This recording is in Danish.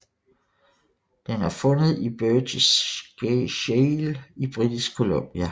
Den er fundet i Burgess Shale i Britisk Columbia